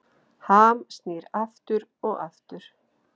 Ham snýr aftur og aftur